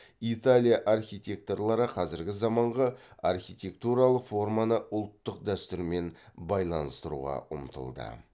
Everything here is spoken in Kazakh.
италия архитекторлары қазіргі заманғы архитектуралық форманы ұлттық дәстүрмен байланыстыруға ұмтылды